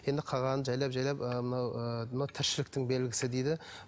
енді қалғанын жайлап жайлап ы мынау ы мынау тіршіліктің белгісі дейді